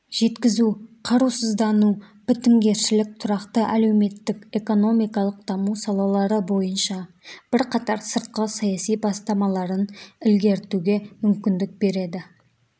жеткізу қарусыздану бітімгершілік тұрақты әлеуметтік-экономикалық даму салалары бойынша бірқатар сыртқы саяси бастамаларын ілгерітуге мүмкіндік береді